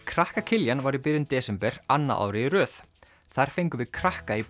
krakka Kiljan var í byrjun desember annað árið í röð þar fengum við krakka í